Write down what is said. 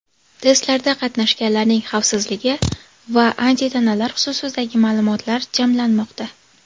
Testlarda qatnashganlarning xavfsizligi va antitanalar xususidagi ma’lumotlar jamlanmoqda.